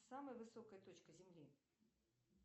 самая высокая точка земли